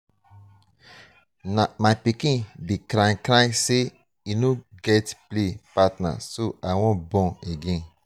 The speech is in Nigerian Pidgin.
my pikin dey cry cry say he no get play partner so i wan born again.